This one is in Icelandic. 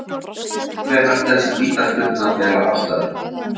En hvenær telst vítaspyrna vera afstaðin?